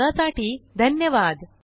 सहभागासाठी धन्यवाद